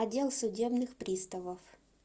отдел судебных приставов